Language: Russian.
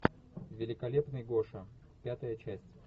великолепный гоша пятая часть